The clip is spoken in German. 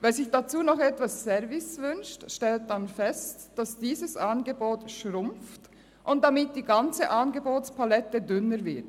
Wer sich dazu noch etwas Service wünscht, stellt dann fest, dass dieses Angebot schrumpft und damit die ganze Angebotspalette dünner wird.